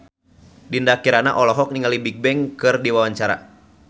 Dinda Kirana olohok ningali Bigbang keur diwawancara